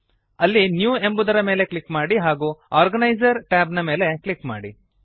ಅಲ್ಲಿ ನ್ಯೂ ಎಂಬುದರ ಮೇಲೆ ಕ್ಲಿಕ್ ಮಾಡಿ ಹಾಗೂ ಆರ್ಗನೈಸರ್ ಟ್ಯಾಬ್ ನ ಮೇಲೆ ಕ್ಲಿಕ್ ಮಾಡಿ